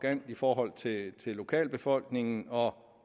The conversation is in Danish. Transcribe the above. i forhold til lokalbefolkningen og